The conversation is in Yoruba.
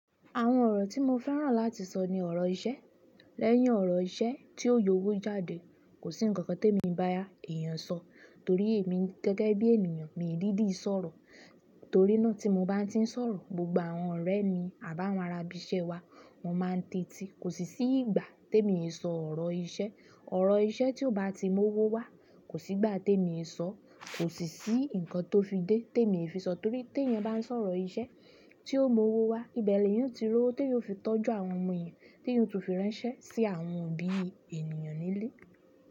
Àwọn ọ̀rọ̀ tí mo fẹ́ràn láti sọ ni ọ̀rọ̀ iṣẹ́. Lẹ́yìn ọ̀rọ̀ iṣẹ́ tí ó yọ owó jáde, kò sí ǹkan kan té mi bá yá èèyàn sọ torí èmi gẹ́gẹ́ bí ènìyàn mi ń dídi sọ̀rọ̀. Torí náà tí mo bá tí ń sọ̀rọ̀, gbogbo àwọn ọ̀rẹ́ mi àbá wọn ra ibi iṣẹ́ wa, wọ́n máa ń tèti. Kò sì sí ìgbà te mi ò sọ ọ̀rọ̀ iṣẹ́. Ọrọ iṣẹ́ ti o ba ti mu owo wa, ni ìgbà ti emi o yi sọ, ko si si nkan to fi de temi o fi n sọ torí ti eyan ba n sọ̀rọ̀ iṣẹ́ ti o mu owo wa ibe ni eyan o ti ríi owo ti eeyan o fi tọ́jú àwọn ọmọ èèyàn, ti eeyan si tun firanṣẹ si àwọn òbí ènìyàn nile.